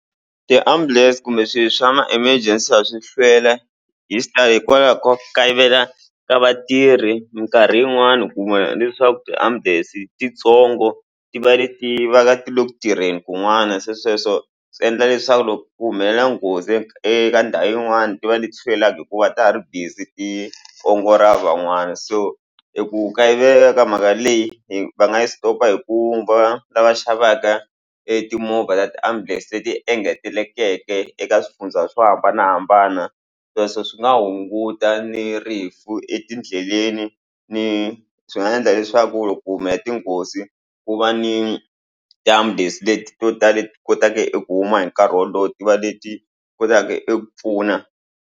Ti-ambulance kumbe swi swa ma emergency a swi hlweli hi hikwalaho ko kayivela ka vatirhi mikarhi yin'wani u kuma leswaku tiambulense titsongo ti va leti va ka ti le ku tirheni kun'wana se sweswo swi endla leswaku loko ku humelela nghozi eka eka ndhawu yin'wani ti va leti sivelaku hikuva ta ha ri busy ti ongo ra van'wana so i ku kayivela ka mhaka leyi hi va nga yi stop hikuva lava xavaka etimovha ta tiambulense leti engetelekeke eka swifundza swo hambanahambana sweswo swi nga hunguta ni rifu etindleleni ni swi nga endla leswaku loko ku humelela tinghozi ku va ni damu days leti to tala ti kotaka i ku huma hi nkarhi wolowo ti va leti kotaka i ku pfuna.